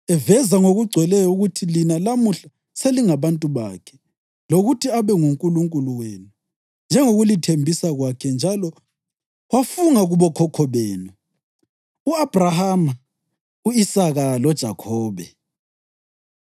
eveza ngokugcweleyo ukuthi lina lamuhla selingabantu bakhe, lokuthi abe nguNkulunkulu wenu njengokulithembisa kwakhe njalo wafunga kubokhokho benu, u-Abhrahama, u-Isaka loJakhobe.